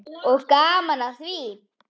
Og gaman að því.